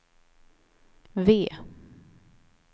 V